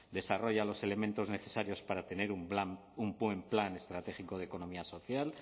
desarrolla los elementos necesarios para tener un plan un buen plan estratégico de economía social